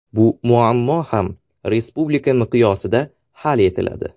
Bu muammo ham respublika miqyosida hal etiladi.